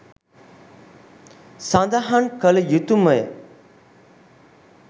සඳහන් කළ යුතුමය.